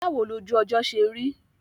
Báwo lojú ọjọ́ ṣe rí?